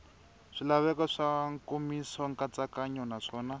swilaveko swa nkomiso nkatsakanyo naswona